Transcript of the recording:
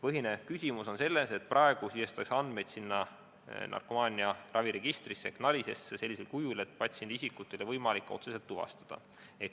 Põhiline küsimus on selles, et praegu sisestatakse andmeid narkomaaniaraviregistrisse NARIS-esse sellisel kujul, et patsiendi isikut ei ole võimalik otseselt tuvastada.